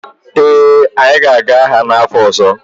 ee, anyị ga-aga agha n’afọ ọzọ